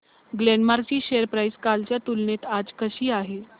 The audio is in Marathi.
ग्लेनमार्क ची शेअर प्राइस कालच्या तुलनेत आज कशी आहे